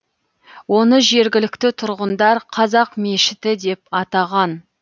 оны жергілікті тұрғындар қазақ мешіті деп атаған